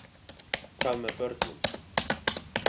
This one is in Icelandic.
Hvað með börnin?